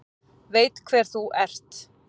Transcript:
Veit hver þú ert.